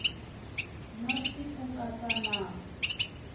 na c ku katsa na